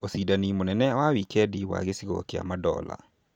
Ũcindani mũnene wa wikendi wa gĩcigo kĩa madola